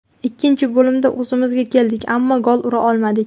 Ikkinchi bo‘limda o‘zimizga keldik, ammo gol ura olmadik.